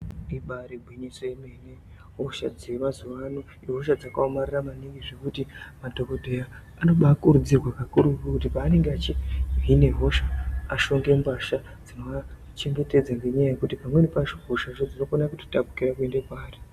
Ibari gwinyiso yemene hosha dzemazuwano ihosha dzakaomarara maningi zvokuti madhokodheya anobakurudzirwa kakurutu kuti panenge achihine hosha ashonge mbahla dzinoachengetedza nganyaaa yekuti pamweni pacho hosha dzacho dzinokona kutotapukira kuende paari.